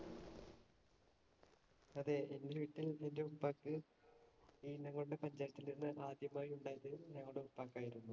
അതെ, എന്‍റെ വീട്ടിൽ എന്‍റെ ഉപ്പാക്ക് മീനംകൊണ്ട പഞ്ചായത്തിൽ നിന്ന് ആദ്യമായി ഉണ്ടായത് ഞങ്ങടെ ഉപ്പായ്ക്ക് ആയിരുന്നു.